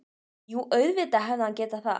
Jú, auðvitað hefði hann getað það.